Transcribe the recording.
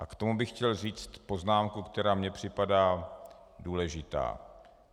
A k tomu bych chtěl říci poznámku, která mi připadá důležitá.